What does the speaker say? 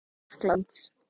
Fara aftur til Frakklands?